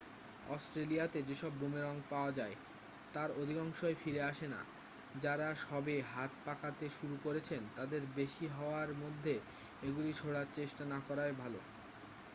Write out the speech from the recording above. অস্ট্রেলিয়াতে যেসব বুমেরাং পাওয়া যায় তার অধিকাংশই ফিরে আসেনা যারা সবে হাত পাকাতে শুরু করেছেন তাদের বেশি হাওয়ার মধ্যে এগুলি ছোঁড়ার চেষ্টা না করাই ভালো